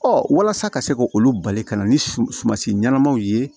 walasa ka se k'olu bali ka na ni sumansi ɲɛnamaw ye